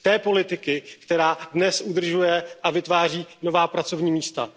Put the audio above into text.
Té politiky, která dnes udržuje a vytváří nová pracovní místa.